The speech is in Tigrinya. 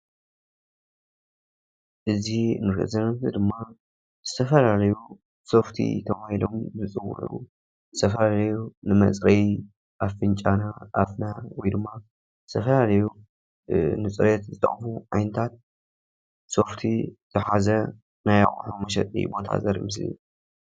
እዚ ንሪኦ ዘለና ምስሊ ድማ ዝተፈላለዩ ሶፍቲ ተባሂሎም ዝፅውዑ ዝተፈላለዩ ንመፅረዪ ኣፍንጫና፣ ኣፍና ወይ ድማ ዝተፈላለዩ ንፅሬት ዝጠቕሙ ዓይነታት ሶፍቲ ዝሓዘ ናይ ኣቑሑ መሸጢ ዘርኢ ምስሊ እዩ፡፡